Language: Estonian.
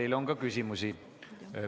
Teile on ka küsimusi.